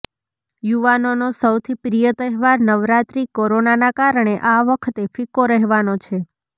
યુવાનોનો સૌથી પ્રિય તહેવાર નવરાત્રિ કોરોનાના કારણે આ વખતે ફિક્કો રહેવાનો છે